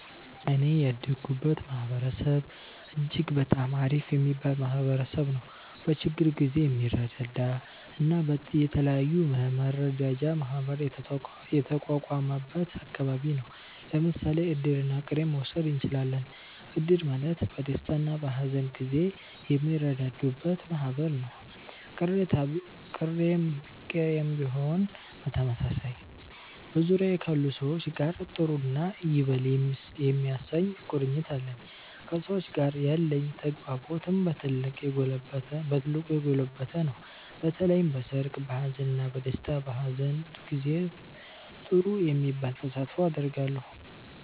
እኔ ያደኩበት ማህበረሰብ እጅግ በጣም አሪፍ የሚባል ማህበረሰብ ነዉ። በችግር ጊዜ የሚረዳዳ እና የተለያዩ የመረዳጃ ማህበር የተቋቋመበት አከባቢ ነው። ለምሳሌ እድርና ቅሬን መዉሰድ እችላለን። እድር ማለት በደስታና በሀዘን ጊዜ የሚረዳዱበት ማህበር ነው፤ ቅሬም ቢሆን በተመሳሳይ። በዙሪያዬ ካሉ ሰዎች ጋር ጥሩ እና ይበል የሚያሰኝ ቁርኝት አለኝ። ከሰዎች ጋር ያለኝ ተግባቦትም በ ትልቁ የጎለበተ ነው። በተለይም በሰርግ፣ በሃዘን፣ በ ደስታ እና በሃዘን ጊዜ ጥሩ የሚባል ተሳትፎ አደርጋለሁ።